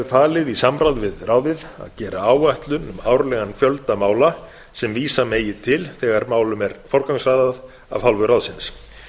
falið í samráði við ráðið að gera áætlun um árlegan fjölda mála sem vísa megi til þegar málum er forgangsraðað af hálfu ráðsins